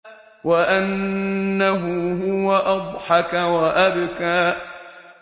وَأَنَّهُ هُوَ أَضْحَكَ وَأَبْكَىٰ